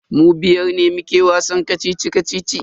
Mu biyar ne muke wasan kacici-kacici.